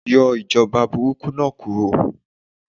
Yọ ìjọba burúkú náà kúro